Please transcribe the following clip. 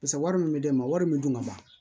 Paseke wari min bɛ di ne ma wari min dun ka ban